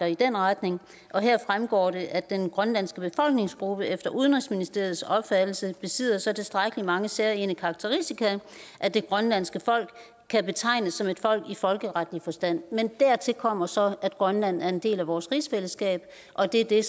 i den retning heraf fremgår det at den grønlandske befolkningsgruppe efter udenrigsministeriets opfattelse besidder så tilstrækkelig mange særegne karakteristika at det grønlandske folk kan betegnes som et folk i folkeretlig forstand men dertil kommer så at grønland er en del af vores rigsfællesskab og det er det